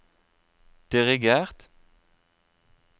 dirigert